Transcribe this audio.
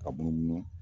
Ka munumunu